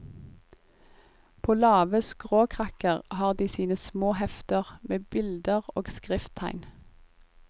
På lave skråkrakker har de sine små hefter, med bilder og skrifttegn.